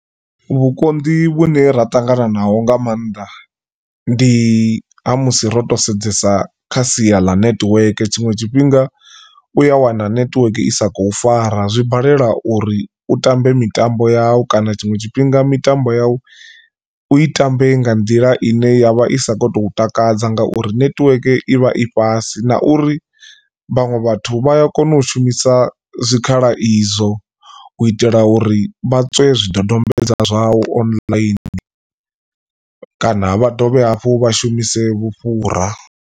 Vhukonḓi vhune ra tangananaho nga maanḓa ndi ha musi ro to sedzesa kha sia ḽa nethiweke tshiṅwe tshifhinga u ya wana netiweke i sa khou fara zwi balela uri u tambe mitambo yau kana tshiṅwe tshifhinga mitambo yau u i tambe nga nḓila ine ya vha i sa kho to takadza ngauri netiweke i vha i fhasi na uri vhaṅwe vhathu vhaya kona u shumisa zwikhala izwo u itela uri vha tswe zwidodombedzwa zwau online kana vha dovhe hafhu vha shumise vhufhura.